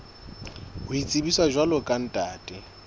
ho itsebisa jwalo ka ntate